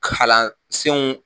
Kalan senw.